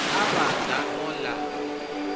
a vhaḓa a ola a